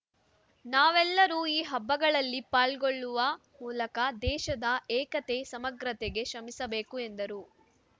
ನಾವೆಲ್ಲರೂ ಈ ಹಬ್ಬಗಳಲ್ಲಿ ಪಾಲ್ಗೊಳ್ಳುವ ಮೂಲಕ ದೇಶದ ಏಕತೆ ಸಮಗ್ರತೆಗೆ ಶ್ರಮಿಸಬೇಕು ಎಂದರು